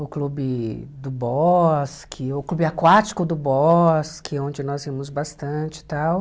o clube do bosque, o clube aquático do bosque, onde nós íamos bastante e tal.